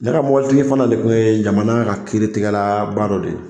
Ne ka mobilitigi fana le kun ye jamana ka kiiritigɛlaba dɔ de ye.